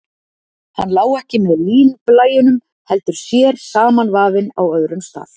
Hann lá ekki með línblæjunum, heldur sér samanvafinn á öðrum stað.